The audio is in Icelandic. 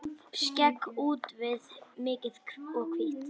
Skegg úfið, mikið og hvítt.